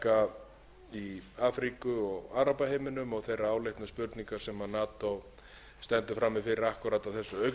átaka í afríku og arabaheiminum og þeirrar áleitnu spurningar sem nato stendur frammi fyrir akkúrat á þessu augnabliki